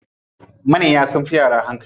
Manya sunfi yara hankali.